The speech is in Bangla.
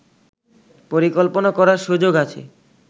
পরিকল্পনা করার সুযোগ আছে